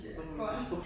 Sådan nogle monstre